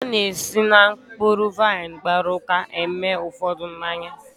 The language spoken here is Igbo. A na-esi na mkpụrụ vaịn gbara ụka eme ụfọdụ mmanya.